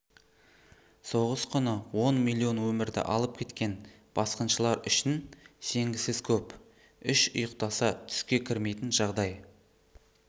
соғыс құны он миллион өмірді алып кеткен басқыншылар үшін сенгісіз көп үш ұйықтаса түске кірмейтін жағдай